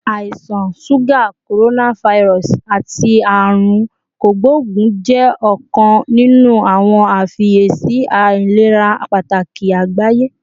Àisan suga, coronavirus, ati Aarun Kogbogun jẹ ọkan ninu awọn ifiyesi ilera pataki agbaye